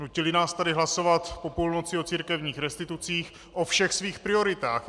Nutili nás tady hlasovat po půlnoci o církevních restitucích, o všech svých prioritách.